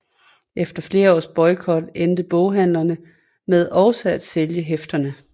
Efter flere års boykot endte boghandlerne med også at sælge hæfterne